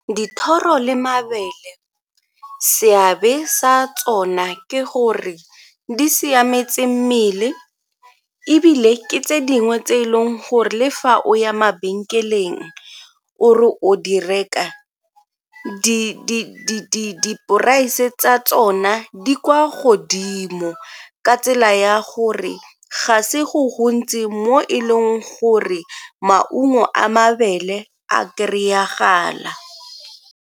Dithoro le mabele, seabe sa tsona ke gore di siametse mmele ebile ke tse dingwe tse e leng gore le fa o ya mabenkeleng o re o di reka di-price tsa tsona di kwa godimo ka tsela ya gore ga se go gontsi mo e leng gore maungo a mabele a kry-agala.